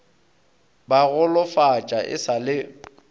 ba golofatša e sa le